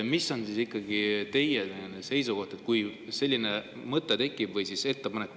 Mis on teie seisukoht, kui selline mõte või ettepanek tekib?